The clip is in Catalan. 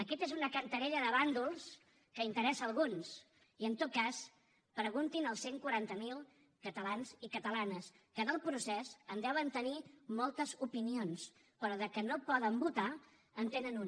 aquesta és una cantarella de bàndols que interessa a alguns i en tot cas preguntin als cent i quaranta miler catalans i catalanes que del procés en deuen tenir moltes opinions però del fet que no poden votar en tenen una